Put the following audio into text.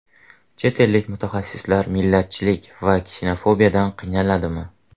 Chet ellik mutaxassislar millatchilik va ksenofobiyadan qiynaladimi?